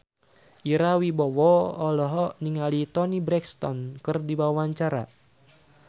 Ira Wibowo olohok ningali Toni Brexton keur diwawancara